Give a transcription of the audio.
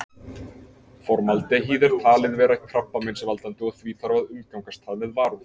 Formaldehýð er talið vera krabbameinsvaldandi og því þarf að umgangast það með varúð.